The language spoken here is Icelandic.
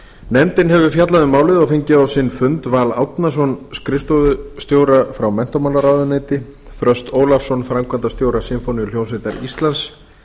nefndin hefur fjallað um málið og fengið á sinn fund val árnason skrifstofustjóra frá menntamálaráðuneyti þröst ólafsson framkvæmdastjóra sinfóníuhljómsveitar íslands